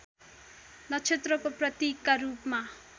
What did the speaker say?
नक्षत्रको प्रतीकका रूपमा